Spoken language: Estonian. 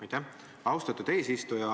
Aitäh, austatud eesistuja!